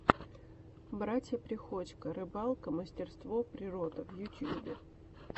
братья приходько рыбалка мастерство природа в ютьюбе